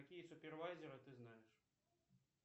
какие супервайзеры ты знаешь